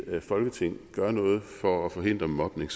folketing gør noget for at forhindre mobning